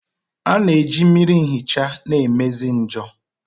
A na-eji mmiri nhicha na-emezi njor.